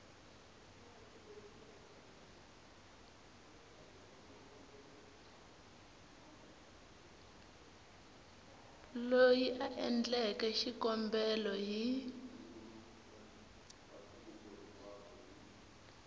loyi a endleke xikombelo hi